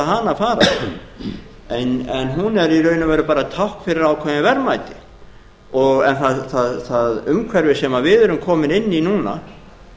hana fara en hún er í raun og veru bara tákn fyrir ákveðin verðmæti en það umhverfi sem við erum komin inn í núna